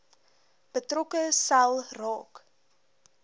betrokke sel raak